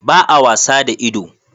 Ba a wasa da ido